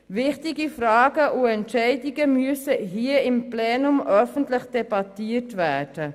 Wichtige Fragen und Entscheidungen müssen hier im Plenum öffentlich debattiert werden.